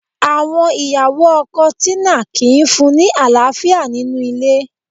Àwọn ìyàwó ọkọ Tina kìí fún-un ní àlàáfíà nínú ilé